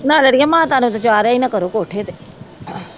ਨਾ ਅੜੀਏ ਮਾਤਾ ਨੂੰ ਤਾਂ ਚਾੜ੍ਹਿਆ ਹੀ ਨਾ ਕਰੋ, ਕੋਠੇ ਤੇ